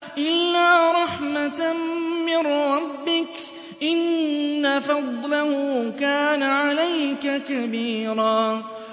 إِلَّا رَحْمَةً مِّن رَّبِّكَ ۚ إِنَّ فَضْلَهُ كَانَ عَلَيْكَ كَبِيرًا